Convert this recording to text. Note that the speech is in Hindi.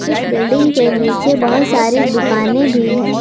इस बिल्डिंग के नीचे बहुत सारी दुकानें भी है।